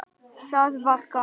Það var gaman.